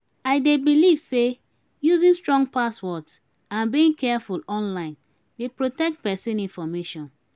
i dey believe say using strong passwords and being careful online dey protect pesin information.